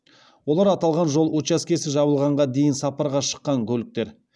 олар аталған жол учаскесі жабылғанға дейін сапарға шыққан көліктер